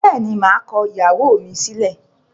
Bẹ́ẹ̀ni, maa kọ ìyàwó mi sílẹ̀.